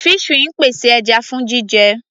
Fishery ń pèsè ẹja fún jíjẹ.